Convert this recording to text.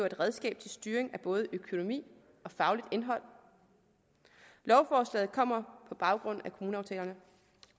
et redskab til styring af både økonomi og fagligt indhold lovforslaget kommer på baggrund